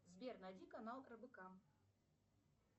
сбер найди канал рбк